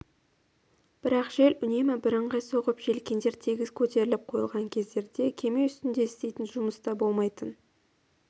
бірақ жел үнемі бірыңғай соғып желкендер тегіс көтеріліп қойылған кездерде кеме үстінде істейтін жұмыс та болмайтын